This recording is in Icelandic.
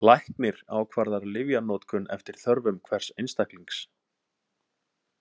Læknir ákvarðar lyfjanotkun eftir þörfum hvers einstaklings.